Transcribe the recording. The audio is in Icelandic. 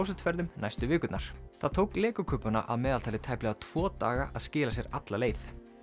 klósettferðum næstu vikurnar það tók Lego kubbana að meðaltali tæplega tvo daga að skila sér alla leið